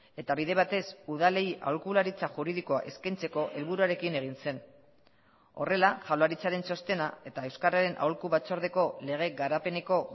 eta bide batez udalei aholkularitza juridikoa eskaintzeko helburuarekin egin zen horrela jaurlaritzaren txostena eta euskararen aholku batzordeko lege garapeneko